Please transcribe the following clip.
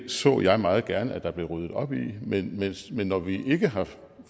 så jeg meget gerne der blev ryddet op i men men når vi ikke har